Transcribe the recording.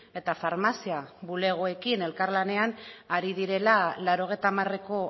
eta farmazia bulegoekin elkarlanean ari direla laurogeita hamareko